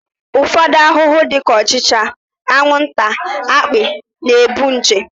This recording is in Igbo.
Ụfọdụ ahụhụ dị ka ọchịcha, anwụnta, akpị na-ebu nje